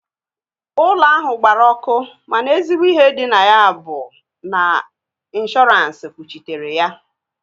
Ụlọ ahụ gbara ọkụ mana ezigbo ihe dị na ya bụ na ọ dị inshọdu